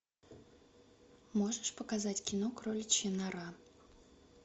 можешь показать кино кроличья нора